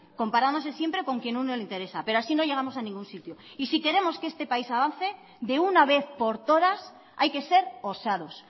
comparándose siempre con quien a uno le interesa pero así no llegamos a ningún sitio y si queremos que este país avance de una vez por todas hay que ser osados